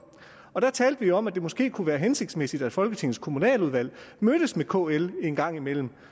og der talte vi om at det måske kunne være hensigtsmæssigt at folketingets kommunaludvalg mødtes med kl en gang imellem